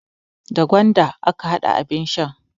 Da gwanda aka hada abin shan.